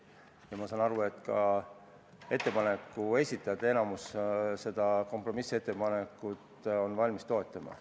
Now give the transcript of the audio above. Ma saan aru, et enamik ettepaneku esitajaid on valmis seda kompromissettepanekut ka toetama.